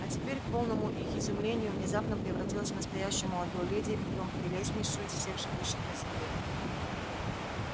а теперь к полному их изумлению внезапно превратилась в настоящую молодую леди и притом прелестнейшую из всех живущих на земле